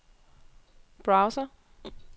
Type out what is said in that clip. browser